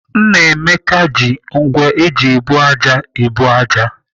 Nnameka ji ngwá eji ebu ájá ebu ájá.